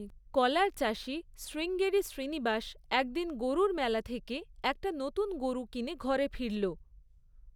কলার চাষী শ্রীঙ্গেরি শ্রীনিবাস একদিন গরুর মেলা থেকে একটা নতুন গরু কিনে ঘরে ফিরল।